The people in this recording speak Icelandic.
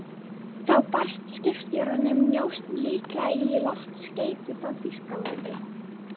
Þá barst skipstjóranum njósn, líklega í loftskeyti frá Þýskalandi.